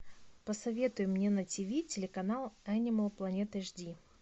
посоветуй мне на ти ви телеканал энимал планет эш ди